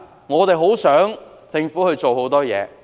我們很想政府做很多事情。